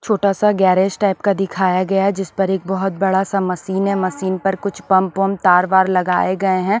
छोटा सा garage type का दिखाया गया है जिस पर एक बहुत बड़ा सा मशीन है मशीन पर कुछ पंप वम तार-वार लगाए गए हैं ।